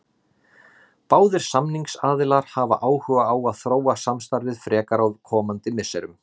Báðir samningsaðilar hafa áhuga á að þróa samstarfið frekar á komandi misserum.